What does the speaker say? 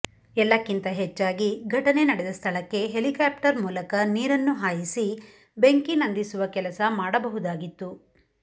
ಎಲ್ಲಕ್ಕಿಂತ ಹೆಚ್ಚಾಗಿ ಘಟನೆ ನಡೆದ ಸ್ಥಳಕ್ಕೆ ಹೆಲಿಕಾಪ್ಟರ್ ಮೂಲಕ ನೀರನ್ನು ಹಾಯಿಸಿ ಬೆಂಕಿ ನಂದಿಸುವ ಕೆಲಸ ಮಾಡಬಹುದಾಗಿತ್ತು